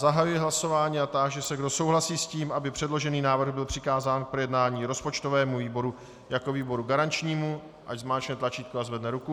Zahajuji hlasování a táži se, kdo souhlasí s tím, aby předložený návrh byl přikázán k projednání rozpočtovému výboru jako výboru garančnímu, ať zmáčkne tlačítko a zvedne ruku.